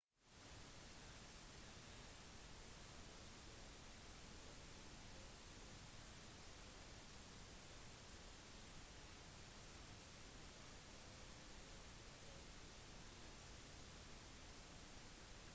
mens bilene foran alonso dro inn for fylle drivstoff under sikkerhetsbilen avanserte han oppover for å ta seieren